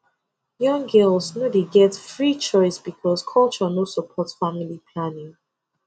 young girls no dey get free choice because culture no support family planning